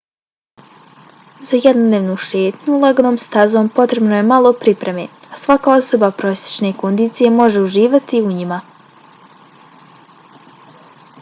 za jednodnevnu šetnju laganom stazom potrebno je malo pripreme a svaka osoba prosječne kondicije može uživati u njima